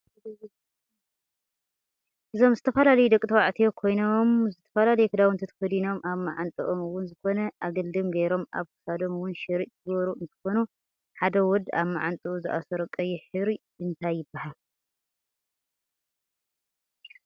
እዞም ዝተፈላላዩ ደቂ ተባዕትዮ ኮይኖም ዝተፈላለዩ ክዳውንቲ ተከዲኖም ኣብ ማዕንጠኦም እውን ዝኮነ ኣግልድም ገይሮም ኣብ ክሳዶም እውን ሽርጥ ዝገበሩ እንትኮኑ ሓደ ወድ ኣብ ማዓንጥኡ ዝኣሰሮ ቀይሕ ሕብሪ እንታይ ይብሃል?